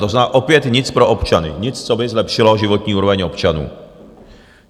To znamená opět nic pro občany, nic, co by zlepšilo životní úroveň občanů.